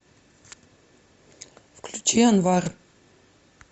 включи анвар